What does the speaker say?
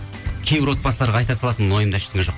кейбір отбасыларға айта салатынмын ойымда ештеңе жоқ